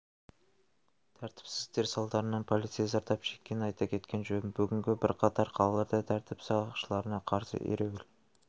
тәртіпсіздіктер салдарынан полицей зардап шеккен айта кеткен жөн бүгін бірқатар қалаларында тәртіп сақшыларына қарсы ереуіл